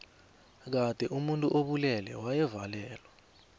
kade omuntu obulele wayebulawa